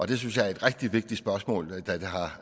det synes jeg er et rigtig vigtig spørgsmål